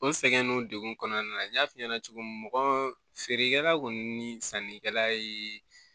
O sɛgɛn nunnu dekun kɔnɔna na n y'a f'i ɲɛna cogo min mɔgɔ feerekɛla kɔni ni sannikɛla ye